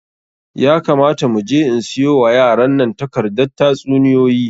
Ya kamata mu je in siyo wa yaran nan takardar tatsuniyoyi.